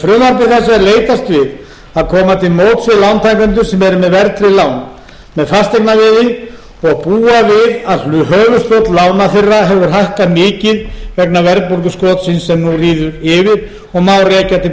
er leitast við að koma til móts við lántakendur sem eru með verðtryggð lán með fasteignaveði og búa við að höfuðstóll lána þeirra hefur hækkað mikið vegna verðbólguskotsins sem nú ríður yfir og má